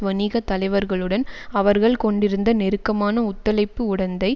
வணிக தலைவர்களுடன் அவர்கள் கொண்டிருந்த நெருக்கமான ஒத்துழைப்பு உடந்தை